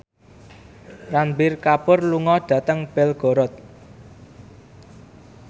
Ranbir Kapoor lunga dhateng Belgorod